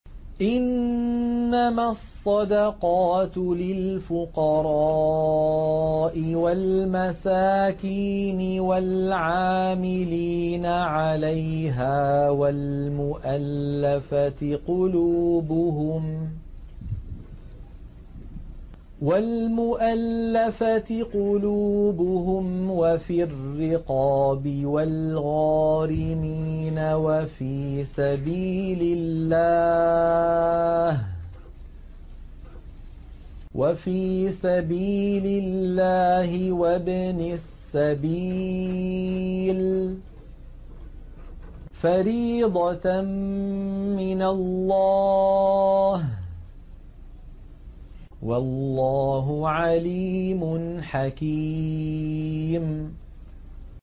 ۞ إِنَّمَا الصَّدَقَاتُ لِلْفُقَرَاءِ وَالْمَسَاكِينِ وَالْعَامِلِينَ عَلَيْهَا وَالْمُؤَلَّفَةِ قُلُوبُهُمْ وَفِي الرِّقَابِ وَالْغَارِمِينَ وَفِي سَبِيلِ اللَّهِ وَابْنِ السَّبِيلِ ۖ فَرِيضَةً مِّنَ اللَّهِ ۗ وَاللَّهُ عَلِيمٌ حَكِيمٌ